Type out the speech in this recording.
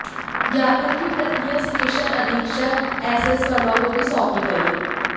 ज्ञापन की प्रतियां स्टेशन अधीक्षक एसएस वर्मा को भी सौंपी गई